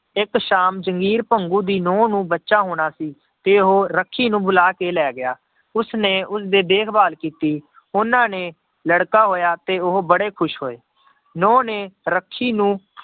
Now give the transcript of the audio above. ਇੱਕ ਸ਼ਾਮ ਜਗੀਰ ਭੰਗੂ ਦੀ ਨਹੁੰ ਨੂੰ ਬੱਚਾ ਹੋਣਾ ਸੀ ਤੇ ਉਹ ਰੱਖੀ ਨੂੰ ਬੁਲਾ ਕੇ ਲੈ ਗਿਆ, ਉਸਨੇ ਉਸਦੇ ਦੇਖ ਭਾਲ ਕੀਤੀ, ਉਹਨਾਂ ਨੇ ਲੜਕਾ ਹੋਇਆ ਤੇ ਉਹ ਬੜੇ ਖ਼ੁਸ਼ ਹੋਏ, ਨਹੁੰ ਨੇ ਰੱਖੀ ਨੂੰ